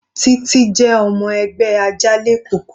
Titi jẹ́ ọmọ ẹgbẹ́ Ajanlekoko.